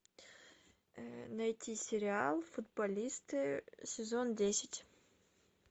найти сериал футболисты сезон десять